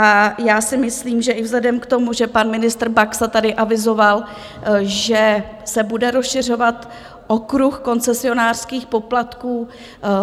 A já si myslím, že i vzhledem k tomu, že pan ministr Baxa tady avizoval, že se bude rozšiřovat okruh koncesionářských poplatků